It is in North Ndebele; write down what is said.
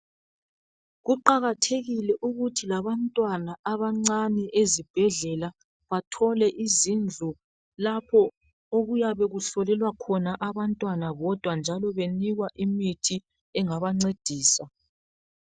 Kuqakathekile ukuthi labantwana abancane ezibhendlela bathole izindlu lapho okuyabe kuhlolelwa khona abantwana bodwa njalo benikwa imithi engabancedisa